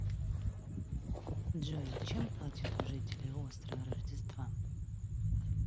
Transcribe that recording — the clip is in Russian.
джой чем платят у жителей острова рождества